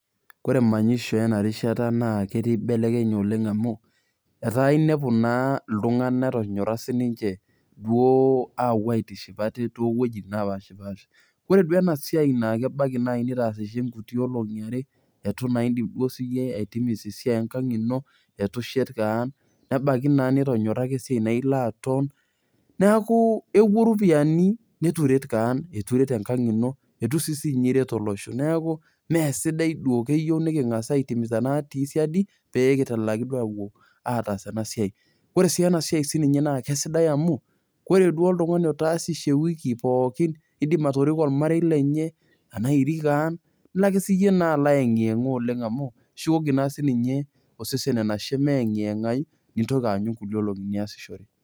Kore manyisho enarishata naa ketii belekeny oleng' amu, etaa inepu naa iltung'anak etonyorra sininche duo apuo aitiship ate towuejiting napashipasha. Kore duo enasiai na kebaki nai nitaasishe nkuti olong'i are, itu naa idip duo siyie aitimisa esiai enkang' ino, itu shet kaan, nebaiki naa nitonyora ake esiai naa ila ake aton, neeku epuo iropiyiani nitu iret kean, itu iret enkang' ino, itu si ninye iret olosho. Neeku meesidai duo. Keyieu niking'asa ai timiza natii siadi, pekitalaki duo apuo ataas enasiai. Kore si enasiai sininye kesidai amu, kore duo oltung'ani otaasishe ewiki pookin, idim atoriko ormarei lenye ,enaa irik ang',ilo ake siyie naa alo ayeng'yeng'a oleng' amu, shukoki na sininye osesen enashe meyeng'yeng'ayu, nintoki aanyu nkulie olong'i niasishore.